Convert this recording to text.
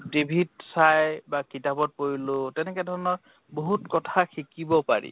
TV ত চাই বা কিতাপত পঢ়িলো, তেনেকে ধৰণৰ বহুত কথা শিকিব পাৰি।